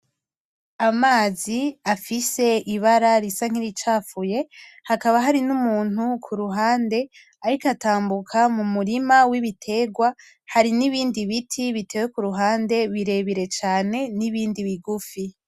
Amazi afise ibara risa niricafuye hakaba hari numuntu kuruhande ariko atambuka mumurima wibiterwa hari nibindi biti biteye kuruhande birebire cane , nibindi bigufi.